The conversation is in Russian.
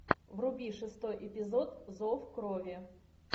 вруби шестой эпизод зов крови